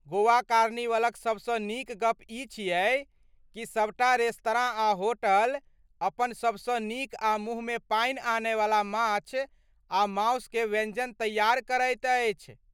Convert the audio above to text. गोवा कार्निवलक सभसँ नीक गप ई छियै कि सभटा रेस्तरां आ होटल अपन सभसँ नीक आ मुँहमे पानि आनयवला माछ आ मासु के व्यञ्जन तैयार करैत अछि।